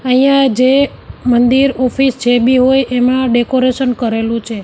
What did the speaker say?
અહીંયા જે મંદિર ઓફિસ જે બી હોય એમાં ડેકોરેશન કરેલું છે.